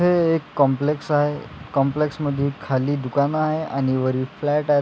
हे एक कॉम्प्लेक्स आहे कॉम्प्लेक्स मध्ये खाली दुकान आहे आणि वर फ्लॅट आहेत.